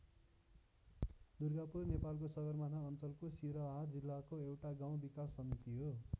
दुर्गापुर नेपालको सगरमाथा अञ्चलको सिरहा जिल्लाको एउटा गाउँ विकास समिति हो।